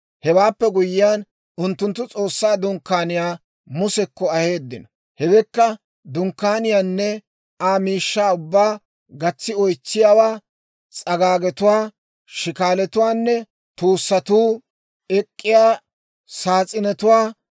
Hewaappe guyyiyaan unttunttu S'oossaa Dunkkaaniyaa Musekko aheeddino; hewekka: dunkkaaniyaanne Aa miishshaa ubbaa, gatsi oytsiyaawaa, s'agaagetuwaa, shikaalatuwaanne, tuussatuu ek'k'iyaa saas'inetuwaa,